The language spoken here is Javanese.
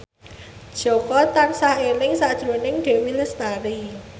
Jaka tansah eling sakjroning Dewi Lestari